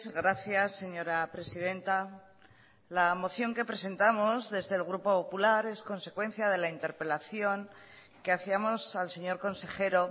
gracias señora presidenta la moción que presentamos desde el grupo popular es consecuencia de la interpelación que hacíamos al señor consejero